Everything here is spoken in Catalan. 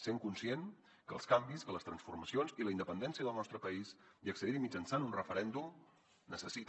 sent conscient que els canvis que les transformacions i la independència del nostre país i accedir hi mitjançant un referèndum necessita